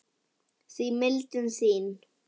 því mildin þín